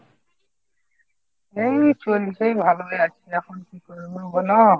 এই চলছে ভালোই আছি এখন কি করব বলো ?